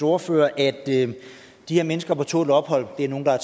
ordfører at de her mennesker på tålt ophold er nogle der er